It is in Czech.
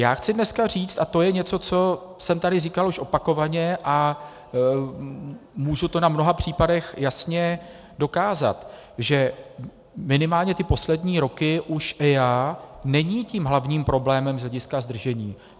Já chci dneska říci, a to je něco, co jsem tady říkal už opakovaně a mohu to na mnoha příkladech jasně dokázat, že minimálně ty poslední roky už EIA není tím hlavním problémem z hlediska zdržení.